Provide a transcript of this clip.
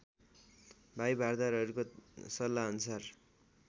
भाइ भारदारहरूको सल्लाहअनुसार